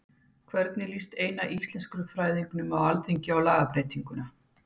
En hvernig líst eina íslenskufræðingnum á Alþingi á lagabreytinguna?